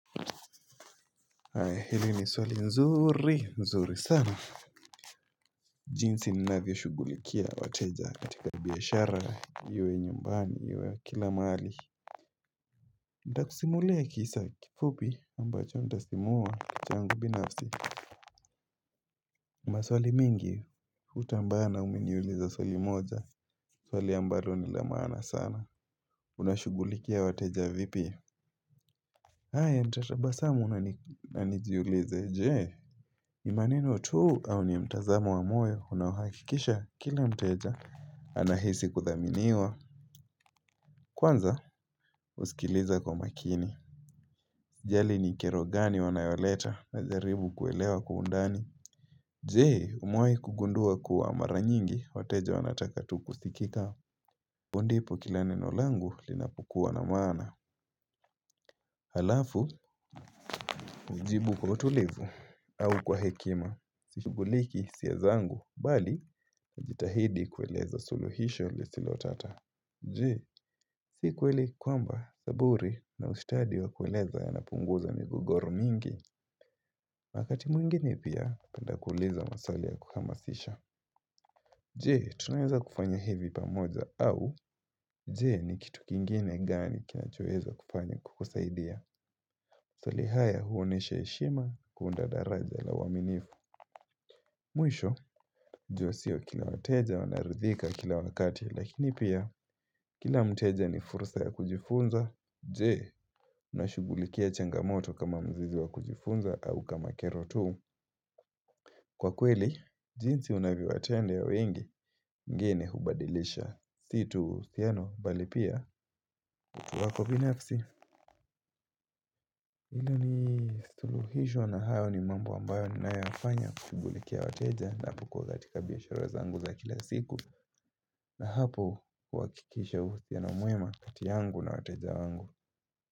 Hili ni swali nzuri nzuri sana jinsi ninavyoshugulikia wateja katika biashara iwe nyumbani iwe kila mahali Nitakusimulia kisa kifupi ambacho nitasimua changu binafsi maswali mingi hutambaa ne umeniuliza swali moja Swali ambalo ni la maana sana Unashugulikia wateja vipi haya nitatabasamu na nijiulize je, imanino tu au ni mtazamo wa moyo unahakikisha kila mteja anahisi kuthaminiwa. Kwanza, husikiliza kwa makini. Jali ni kiro gani wanayoleta najaribu kuelewa undani. Jee, umewahi kugundua kuwa mara nyingi wateja wanataka tu kusikika. Hapo ndipo kila neno langu linapukua na maana. Halafu, hujibu kwa utulivu au kwa hekima. Sishuguliki hisia zangu, bali, najitahidi kueleza suluhisho lisilo tata Je, sikweli kwamba zaburi na ustadi wa kweleza yanapunguza migogoro mingi wakati mwingine pia penda kuuliza maswali ya kuhamasisha Je, tunaweza kufanya hivi pamoja au Je ni kitu kingine gani kinachoweza kufanya kukusaidia maswali haya huonesha heshima kuunda daraja la uaminifu Mwisho, jau sio kila wateja wanaoridhika kila wakati lakini pia kila mteja ni fursa ya kujifunza Je, unashugulikia changamoto kama mzizi wa kujifunza au kama kero tu Kwa kweli, jinsi unavyowatendea wengi wengeni hubadilisha si tu uhusiano mbali pia wako binafsi Hili ni suluhisho na hayo ni mambo ambayo ninayo yafanya kushughulikia wateja ninapokuwa katika biashara zangu za kila siku na hapo kuhakikisha uhusiano mwema kati yangu na wateja wangu.